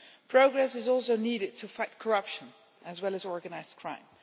Progress is also needed to fight corruption as well as organised crime.